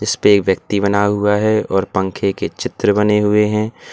इसपे एक व्यक्ति बना हुआ है और पंखे के चित्र बने हुए हैं।